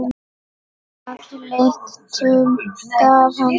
Að lyktum gaf hann sig.